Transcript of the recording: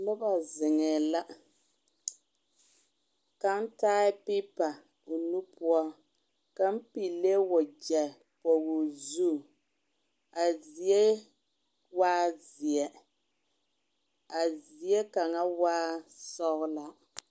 Noba zeŋɛɛ la kaŋ taa pepa o nu poɔ kaŋ pilee wagyɛ pɔge o zu a zie waa zeɛ a zie kaŋa waa sɔglaa.